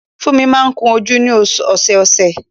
Fúnmi máa ń ko jú ni ọ̀sọ̀ọ̀sẹ̀